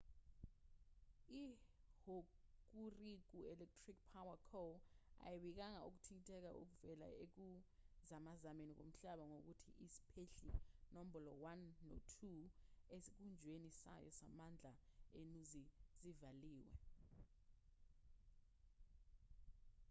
ihokuriku electric power co ayibikanga ukuthinteka okuvela ekuzamazameni komhlaba nokuthi isiphehli nombolo 1 no-2 esikhungweni sayo samandla enuzi zivaliwe